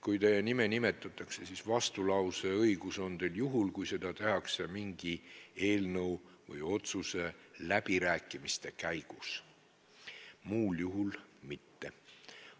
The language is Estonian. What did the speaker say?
Kui teie nime nimetatakse, siis vastulause õigus on teil juhul, kui seda tehakse mingi eelnõu või otsuse läbirääkimiste käigus, muul juhul mitte.